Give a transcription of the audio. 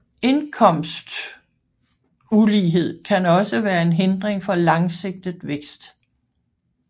Indkomstulighed kan også være en hindring for langsigtet vækst